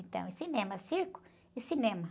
Então, é cinema, circo e cinema.